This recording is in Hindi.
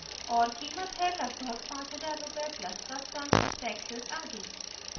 * और कीमत है लगभग 5000 रूपए plus customs टैक्सेज़ आदि